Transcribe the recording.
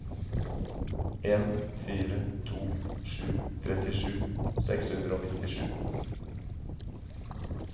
en fire to sju trettisju seks hundre og nittisju